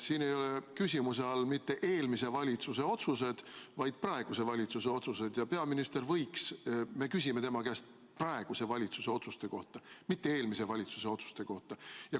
Siin ei ole küsimuse all mitte eelmise valitsuse otsused, vaid praeguse valitsuse otsused ja me küsime peaministri käest praeguse valitsuse otsuste kohta, mitte eelmise valitsuse otsuste kohta.